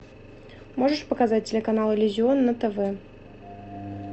можешь показать телеканал иллюзион на тв